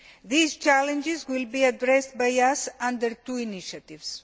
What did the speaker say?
These challenges will be addressed by us under two initiatives.